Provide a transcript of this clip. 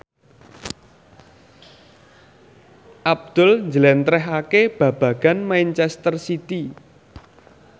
Abdul njlentrehake babagan manchester city